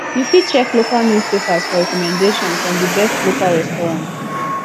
you fit check local newspapers for recommendations on di best local restaurant